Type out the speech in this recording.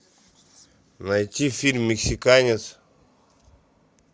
найти фильм мексиканец